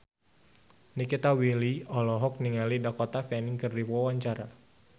Nikita Willy olohok ningali Dakota Fanning keur diwawancara